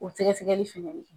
O sɛgɛsɛgɛgɛli fɛnɛ ye.